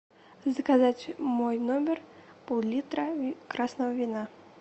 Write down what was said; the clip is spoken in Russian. заказать в мой номер пол литра красного вина